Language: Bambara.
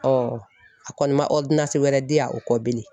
a kɔni ma wɛrɛ di yan o kɔ bilen